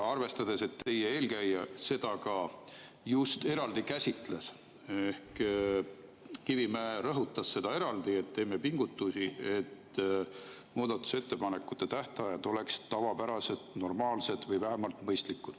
Teie eelkäija seda ka just eraldi käsitles: Kivimägi rõhutas eraldi, et me teeme pingutusi, et muudatusettepanekute tähtajad oleksid tavapärased, normaalsed või vähemalt mõistlikud.